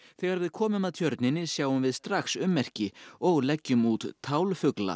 þegar við komum að tjörninni sjáum við strax ummerki og leggjum út